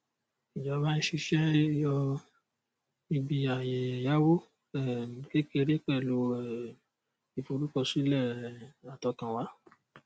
ìjọba ń ṣiṣẹ yọ ibi ààyè ẹyáwó um kékeré pẹlú um ìforúkọsílẹ um àtọkànwá